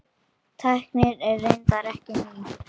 Tæknin er reyndar ekki ný.